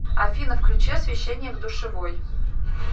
афина включи освещение в душевой